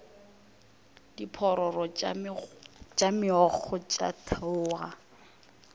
diphororo tša meokgo tša theoga